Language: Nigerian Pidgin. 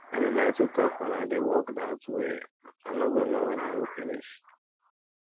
i dey like to talk wen i dey work dat way i no go know wen i go finish